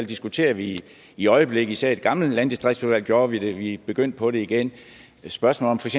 diskuterer vi i øjeblikket især i det gamle landdistriktsudvalg gjorde vi det vi er begyndt på det igen spørgsmålet